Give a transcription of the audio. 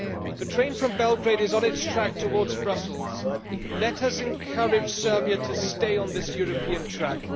The train from Belgrade is on its track towards Brussels, let us encourage Serbia to stay on this European track.